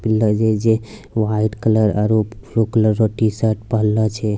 लागे छै की व्हाइट कलर और ब्लू कलर के टी-शर्ट पिहिंनले छै।